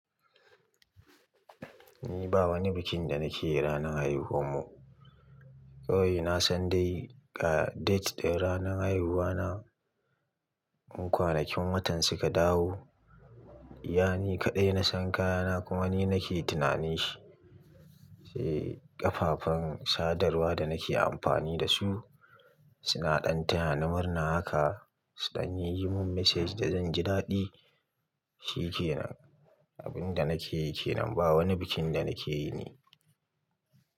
Ni ba wani bikin da nake yi ranar haihuwarmu. Kawai na san dai ga date ɗin ranar haihuwa na. Kwanakin watan suka dawo, iya ni kaɗai na san kayana kuma ni nake tunanin shi. Eh, ƙafafan sadarwa da nake amfani da su suna ɗan tayani, murna haka. Suɗan yi mun message da zan ji daɗi, shi kenan. Abin da nake yi kenan ba wani bikin da nake yi ne.